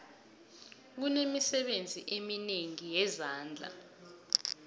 kunemisebenzi eminengi yezandla